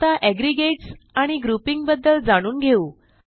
आता एग्रीगेट आणि ग्रुपिंग बद्दल जाणून घेऊ